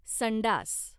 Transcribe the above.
संडास